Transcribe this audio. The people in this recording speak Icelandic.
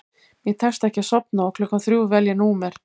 Mér tekst ekki að sofna og klukkan þrjú vel ég númer